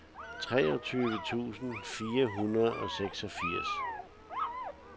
treogtyve tusind fire hundrede og seksogfirs